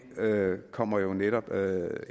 kommer jo netop